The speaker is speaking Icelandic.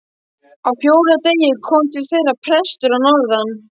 Á fjórða degi kom til þeirra prestur að norðan.